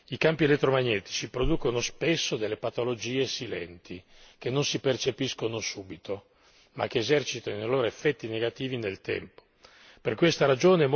Perché vede, i campi elettromagnetici producono spesso delle patologie silenti che non si percepiscono subito ma che esercitano i loro effetti negativi nel tempo.